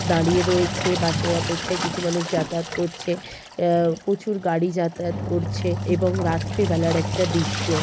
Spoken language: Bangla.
দাঁড়িয়ে রয়েছে বাস -এর অপেক্ষায়। কিছু মানুষ যাতায়াত করছে উম প্রচুর গাড়ি যাতায়াত করছে এবং রাত্রে বেলার একটা দৃশ্য।